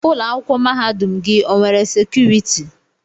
Ụlọ akwụkwọ mahadum gị o nwere sekuriti?